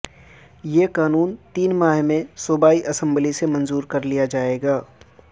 یہ قانون تین ماہ میں صوبائی اسمبلی سے منظور کر لیا جائے گا